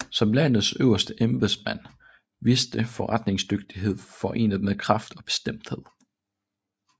Som landets øverste embedsmand viste forretningsdygtighed forenet med kraft og bestemthed